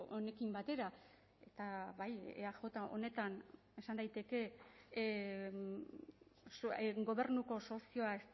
honekin batera eta bai eaj honetan esan daiteke gobernuko sozioa